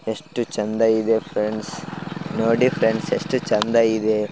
ಎಷ್ಟು ಚೆಂದ ಇದೆ ಫ್ರೆಂಡ್ಸ್ ನೋಡಿ ಫ್ರೆಂಡ್ಸ್ ಎಷ್ಟು ಚೆಂದ ಇದೆ .